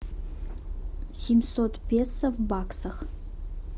семьсот песо в баксах